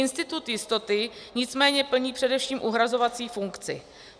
Institut jistoty nicméně plní především uhrazovací funkci.